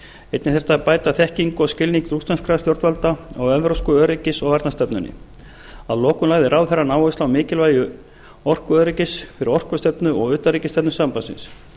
einnig þyrfti að bæta þekkingu og skilning rússneskra stjórnvalda á evrópsku öryggis og varnarstefnunni að lokum lagði ráðherrann áherslu mikilvægi orkuöryggis fyrir orkustefnu og utanríkisstefnu sambandsins